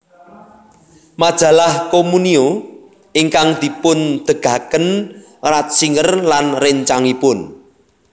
Majalah Communio ingkang dipundegaken Ratzinger lan réncangipun